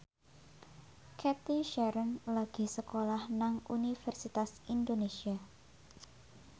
Cathy Sharon lagi sekolah nang Universitas Indonesia